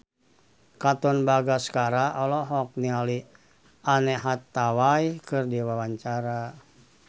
Katon Bagaskara olohok ningali Anne Hathaway keur diwawancara